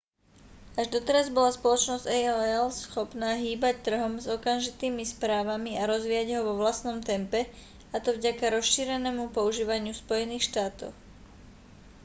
až doteraz bola spoločnosť aol schopná hýbať trhom s okamžitými správami a rozvíjať ho vo vlastnom tempe a to vďaka rozšírenému používaniu v spojených štátoch